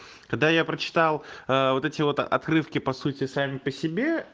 когда я прочитал аа вот эти вот отрывки по сути сами по себе